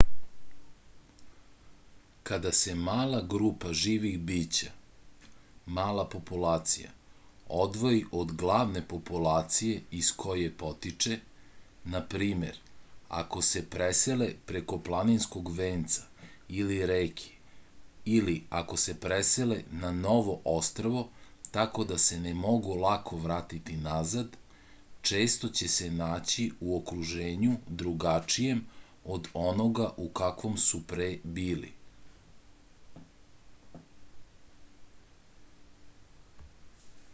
када се мала група живих бића мала популација одвоји од главне популације из које потиче на пример ако се преселе преко планинског венца или реке или ако се преселе на ново острво тако да се не могу лако вратити назад често ће се наћи у окружењу другачијем од онога у каквом су пре били